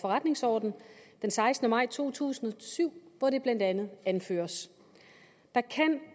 forretningsordenen den sekstende maj to tusind og syv hvor det blandt andet anføres at der